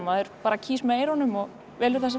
maður bara kýs með eyrunum og velur það sem